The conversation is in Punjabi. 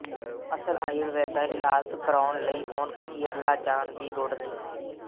ਅਸਲ ਆਯੁਰਵੈਦਾ ਇਲਾਜ ਕਰਾਉਣ ਲਈ ਹੁਣ ਕੇਰਲਾ ਜਾਣ ਦੀ ਲੋੜ ਨਹੀਂ